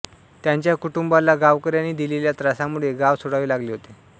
त्यांच्या कुटुंबाला गावकऱ्यांनी दिलेल्या त्रासामुळे गाव सोडावे लागले होते